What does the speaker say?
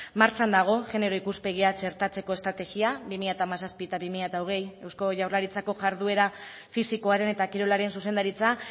martxan dago genero ikuspegia txertatzeko estrategia bi mila hamazazpi eta bi mila hogei eusko jaurlaritzako jarduera fisikoaren eta kirolaren zuzendaritza